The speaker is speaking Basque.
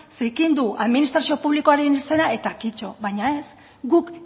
zikindu administrazio publikoaren izena eta kito baina ez guk